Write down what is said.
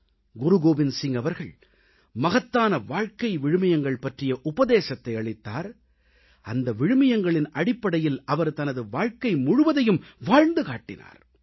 குருகோவிந்த் சிங் அவர்கள் மகத்தான வாழ்க்கை விழுமியங்கள் பற்றிய உபதேசத்தை அளித்தார் அந்த விழுமியங்களின் அடிப்படையில் அவர் தனது வாழ்க்கை முழுவதையும் வாழ்ந்து காட்டினார்